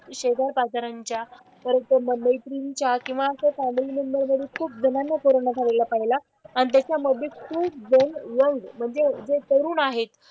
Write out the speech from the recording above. शेजारपाजारांच्या परत मैत्रिणींच्या किंवा आमच्या फॅमिली मेंबर मधून खूप जणांना कोरोना झालेला पाहिला. आणि त्याच्यामधे खूपजण यंग म्हणजे जे तरुण आहे,